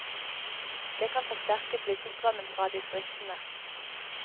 Det kan forsterke flyttestrømmen fra distriktene.